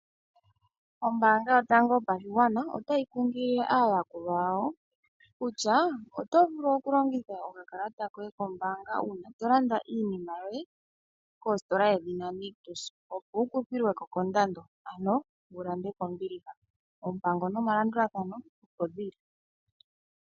Ombaanga yotango yopashigwana otayi kunkilile aayakulwa yawo kutya: oto vulu okulongitha okakalata koye kombaanga uuna to landa iinima yoye, kositola yedhina Nictus opo wu kuthilwe ko kondado, ano wu lande kombiliha. Oompango nomalandulathano opo dhi li.